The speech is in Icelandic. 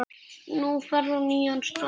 Nú ferðu á nýjan stað.